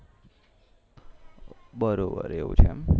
બરોબર એવું છે એમ